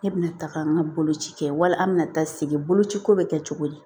Ne bɛna taaga an ka boloci kɛ wala an bɛ na taa sigi boloci ko bɛ kɛ cogo di